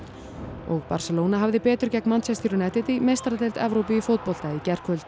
og Barcelona hafði betur gegn Manchester United í meistaradeild Evrópu í fótbolta í gærkvöld